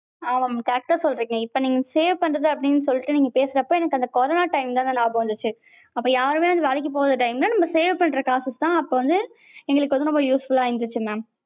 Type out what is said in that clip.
ஹான் correct டா சொல்றிங்க save பண்றது அப்படின்னு சொல்லிட்டு நீங்க பேசுனப்ப எனக்கு அந்த கொரோனா time தாங்க நியாபகம் வந்திச்சு. அப்ப யாருமே வேலைக்கு போகாத time ல நம்ம save பண்ற காச வச்சு தான் வந்து எங்களுக்கு வந்து ரொம்ப useful லா இருந்திச்சு mam.